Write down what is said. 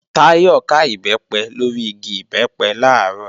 Táyọ̀ ká Ìbẹ́pẹ lórí igi Ìbẹ́pẹ làárọ̀